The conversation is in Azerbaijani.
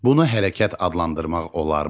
Bunu hərəkət adlandırmaq olarmı?